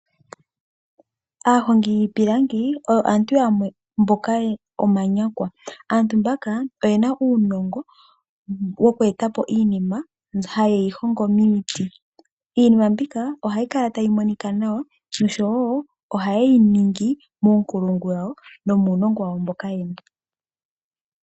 Aahongi yiipilangi oyo aantu yamwe mboka omanyakwa. Aantu mbaka oyena uunongo woku etapo iinima, hayeyi hongo miiti. Iinima mbika ohayi kala tayi monika nawa, noshowo ohayeyi ningi muunkulungu, nomuunongo wawo mboka yena.